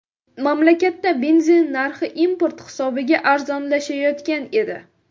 Mamlakatda benzin narxi import hisobiga arzonlashayotgan edi.